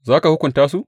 Za ka hukunta su?